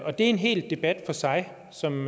er en hel debat for sig som